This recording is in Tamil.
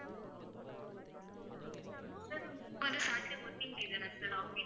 sir உங்களுக்கு வந்து saturday working day தான sir office?